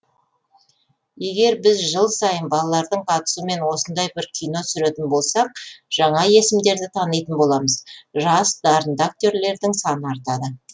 егер біз жыл сайын балалардың қатысуымен осындай бір кино түсіретін болсақ жаңа есімдерді танитын боламыз жас дарынды актерлердің саны артады